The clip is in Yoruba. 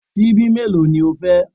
Síbí bíi mélòó ni o fẹ́?